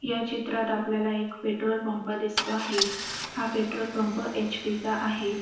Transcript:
या चित्रात आपल्याला एक पेट्रोल पंप दिसतो आहे हा पंप एच.पी. चा आहे.